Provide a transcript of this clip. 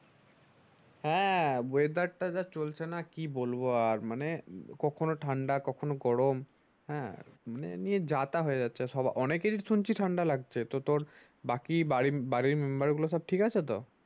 হ্যাঁ weather টা যা চলছে না কি বলবো আর মানে কখনো ঠান্ডা কখনো গরম হ্যাঁ নিয়ে যা তা হয়ে যাচ্ছে সব অনেকেরেই শুনছি ঠান্ডা লাগছে তা তোর বাকি বাড়ি বাড়ির member গুলা সব ঠিক আছে তো